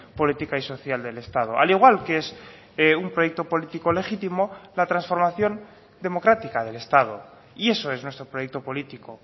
política y social del estado al igual que es un proyecto político legítimo la transformación democrática del estado y eso es nuestro proyecto político